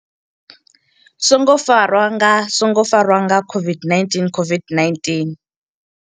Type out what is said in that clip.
songo farwa nga songo farwa nga COVID-19COVID-19